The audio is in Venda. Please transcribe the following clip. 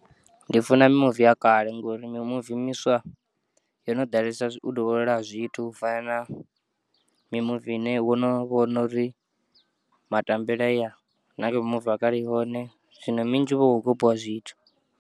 Ndi funa mimuvi ya kale ngauri mi muvi miswa, yo no ḓalesa u dovholola ha zwithu u fana na mimuvi ine wono vhono uri ma tambele aya, na kha mimuvi ya kale ihone zwino minzhi huvha hu kho kopiwa zwithu.